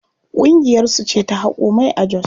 Ƙungiyar su ce ta haƙo mai a jos.